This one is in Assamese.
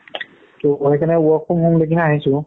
তৌ সেইকাৰণে work from home লৈকেহে আহিছোঁ